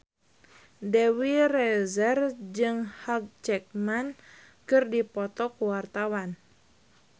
Dewi Rezer jeung Hugh Jackman keur dipoto ku wartawan